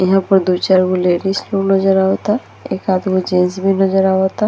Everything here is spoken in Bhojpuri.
यहाँ पर दो चार गो लेडिस रूम नजर आवता | एकाद गो जेंट्स भी नजर आवता |